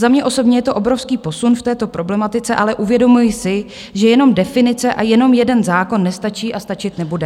Za mě osobně je to obrovský posun v této problematice, ale uvědomuji si, že jenom definice a jenom jeden zákon nestačí a stačit nebude.